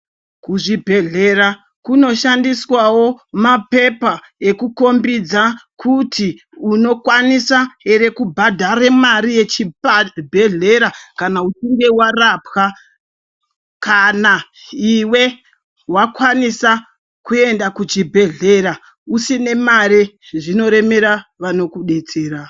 Kuzvibhedhlera kuno shaswawo mapepa ekuti ekombidza kuti uno kwanisawo here kubhadhara mari yechibhlera kana uchinge warapwa kana iwe wakwanisa wakwanisa kuenda kuchibhehlera usina mare zvinoremera vanokubatsira.